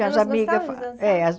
Elas gostavam de dançar? É